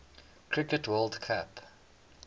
cricket world cup